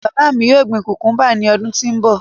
My father will plant cucumbers next year